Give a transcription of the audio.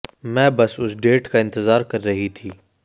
मैं बस उस डेट का इंतजार कर रही थी